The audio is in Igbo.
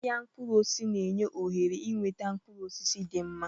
Ahịa mkpụrụ osisi na-enye ohere ịnweta mkpụrụ osisi dị mma.